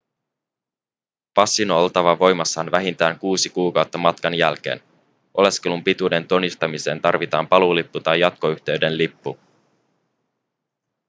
passin on oltava voimassa vähintään 6 kuukautta matkan jälkeen oleskelun pituuden todistamiseen tarvitaan paluulippu tai jatkoyhteyden lippu